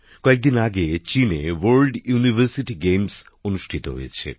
কয়েকদিন আগে চীনে আন্তর্জাতিক বিশ্ববিদ্যালয় ক্রীড়া প্রতিযোগিতা অনুষ্ঠিত হয়েছে